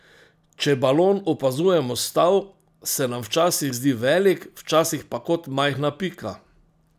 Če balon opazujemo s tal, se nam včasih zdi velik, včasih pa kot majhna pika.